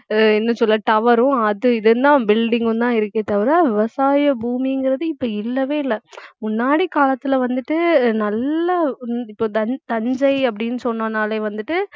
அஹ் என்ன சொல்ல tower ரும் அது இதுனு building உம் தான் இருக்கே தவிர விவசாய பூமிங்கிறது இப்ப இல்லவே இல்லை முன்னாடி காலத்துல வந்துட்டு நல்லா இது இப்~ இப்போ தஞ்~ தஞ்சை அப்படின்னு சொன்னோம்னாலே வந்துட்டு